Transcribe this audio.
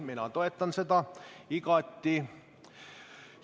Mina toetan seda igati.